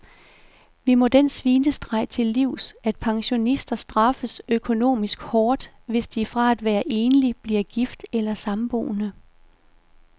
Vi må den svinestreg til livs, at pensionister straffes økonomisk hårdt, hvis de fra at være enlig bliver gift eller samboende.